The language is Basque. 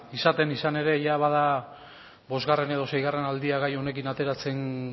izaten izan ere jada bada bosgarren edo seigarren aldia gai honekin ateratzen